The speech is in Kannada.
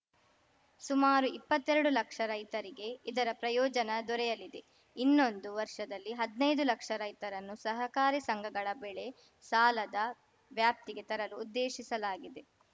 ಸುಮಾರು ಇಪ್ಪತ್ತೆರಡು ಲಕ್ಷ ರೈತರಿಗೆ ಇದರ ಪ್ರಯೋಜನ ದೊರೆಯಲಿದೆ ಇನ್ನೊಂದು ವರ್ಷದಲ್ಲಿ ಹದ್ನೈದು ಲಕ್ಷ ರೈತರನ್ನು ಸಹಕಾರಿ ಸಂಸ್ಥೆಗಳ ಬೆಳೆ ಸಾಲದ ವ್ಯಾಪ್ತಿಗೆ ತರಲು ಉದ್ದೇಶಿಸಲಾಗಿದೆ